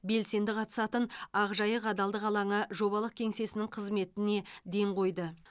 белсенді қатысатын ақжайық адалдық алаңы жобалық кеңсесінің қызметіне ден қойды